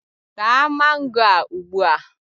Taa mango a ugbua!